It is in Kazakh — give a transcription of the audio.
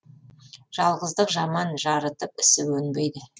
жалғыздық жаман жарытып ісі өнбейді